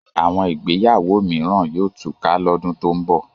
Àwọn ìgbéyàwó mìíràn yóò túká lọ́dún tó ń bọ̀